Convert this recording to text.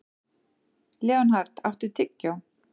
Leonhard, áttu tyggjó?